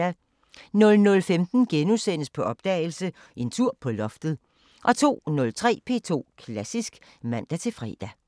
00:15: På opdagelse – En tur på loftet * 02:03: P2 Klassisk (man-fre)